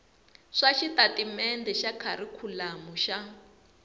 swa xitatimendhe xa kharikhulamu xa